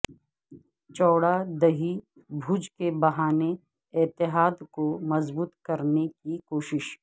چوڑا دہی بھوج کے بہانے اتحاد کو مضبوط کرنے کی کوشش